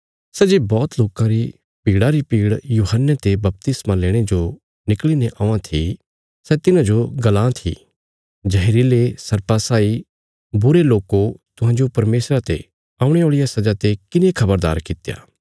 सै जे बौहत लोकां री भीड़ा री भीड़ यूहन्ने ते बपतिस्मा लेणे जो निकल़ीने औआं थी सै तिन्हाजो गल्लां था जहरीले सर्पा साई बुरे लोको तुहांजो परमेशरा ते औणे औल़िया सजा ते किने खबरदार कित्या